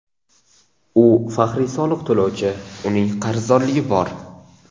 U faxriy soliq to‘lovchi, uning qarzdorligi bor.